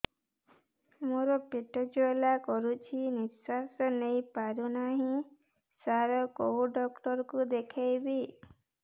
ମୋର ପେଟ ଜ୍ୱାଳା କରୁଛି ନିଶ୍ୱାସ ନେଇ ପାରୁନାହିଁ ସାର କେଉଁ ଡକ୍ଟର କୁ ଦେଖାଇବି